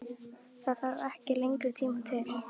Það þarf ekki lengri tíma til?